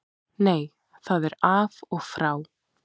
Nei það er af og frá.